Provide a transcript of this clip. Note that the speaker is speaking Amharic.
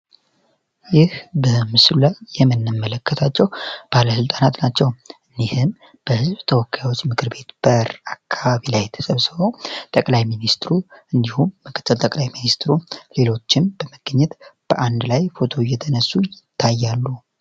ይህ በምስሉ ላይ የምንመለከተው ባለስልጣናት ናቸው። እነዚህ በህዝብ ተወካዮች ምክር ቤት በር ተሰብስበው ጠቅላይ ሚኒስትሩ እንዲሁም ምክትል ጠቅላይ ሚኒስትሩም በመገኘት በአንድ ላይ ፎቶ እየተነሱ ይታያሉ።